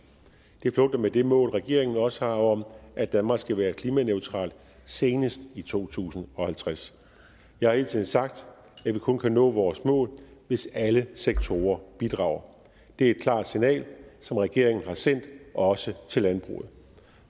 det flugter med det mål regeringen også har om at danmark skal være klimaneutral senest i to tusind og halvtreds jeg har hele tiden sagt at vi kun kan nå vores mål hvis alle sektorer bidrager det er et klart signal som regeringen har sendt og også til landbruget